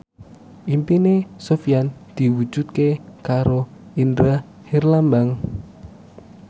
impine Sofyan diwujudke karo Indra Herlambang